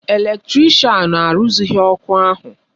Eletrịshan arụzịghị ọrụ ahụ